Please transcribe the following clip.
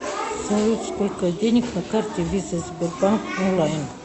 салют сколько денег на карте виза сбербанк онлайн